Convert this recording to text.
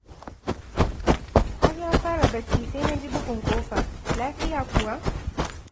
Har na fara barci sai na ji bugun ƙofa. Lafiya kuwa?